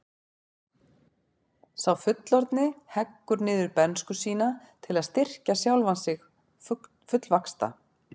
Sá fullorðni heggur niður bernsku sína til að styrkja sjálfan sig fullvaxta.